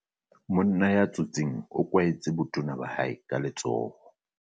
Monna ya tsotseng o kwahetse botona ba hae ka letsoho.